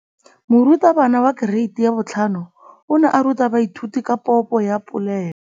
Moratabana wa kereiti ya 5 o ne a ruta baithuti ka popô ya polelô.